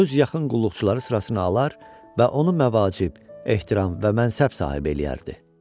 Öz yaxın qulluqçuları sırasına alar və onu məvacib, ehtiram və mənsəb sahibi eləyərdi.